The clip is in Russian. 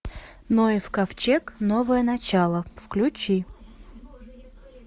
ноев ковчег новое начало включи